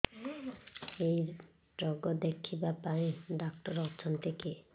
ଏଇ ରୋଗ ଦେଖିବା ପାଇଁ ଡ଼ାକ୍ତର ଅଛନ୍ତି କି